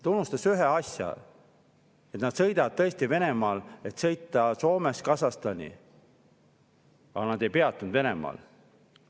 Ta unustas ühe asja: nad sõitsid tõesti Venemaal, et sõita Soomest Kasahstani, aga nad ei peatunud Venemaal.